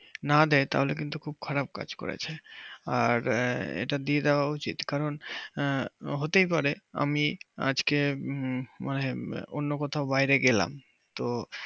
না দেয় তাহলে কিন্তু খুব খারাপ কাজ করবে আর এটা দিয়ে দেওয়া উচিত কারণ হতেই পারে আমি আজকে অন্য কোথায় বাইরে গেলাম তো